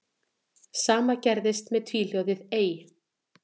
Sama gerðist með tvíhljóðið ey.